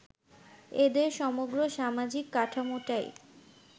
এদের সমগ্র সামাজিক কাঠামোটাই